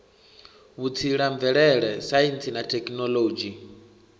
vhutsila mvelele saintsi na thekhinoḽodzhi